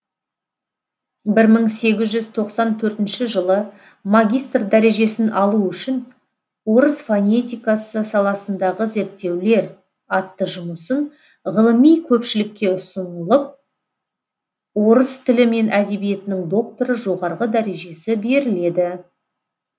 бір мың сегіз жүз тоқсан төртінші жылы магистр дәрежесін алу үшін орыс фонетикасы саласындағы зерттеулер атты жұмысын ғылыми көпшілікке ұсынылып орыс тілі мен әдебиетінің докторы жоғарғы дәрежесі беріледі